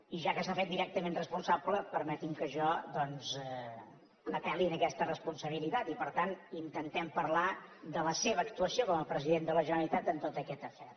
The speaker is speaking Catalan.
i ja que se n’ha fet directament responsable permeti’m que jo doncs apelli a aquesta responsabilitat i per tant intentem parlar de la seva actuació com a president de la generalitat en tot aquest afer